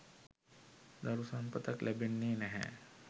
දරු සම්පතක් ලැබෙන්නේ් නැහැ.